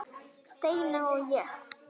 Steina og ég.